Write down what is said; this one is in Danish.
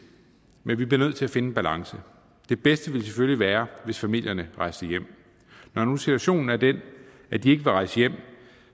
men vi bliver nødt til at finde en balance det bedste ville selvfølgelig være hvis familierne rejste hjem når nu situationen er den at de ikke vil rejse hjem